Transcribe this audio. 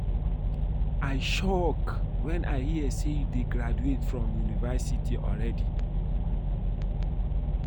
I shock wen I hear say you dey graduate from university already